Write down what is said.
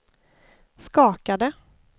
skakade